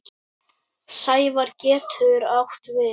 Sæfari getur átt við